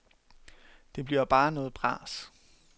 Det bliver bare noget bras.